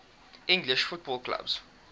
english football clubs